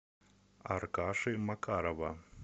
аркаши макарова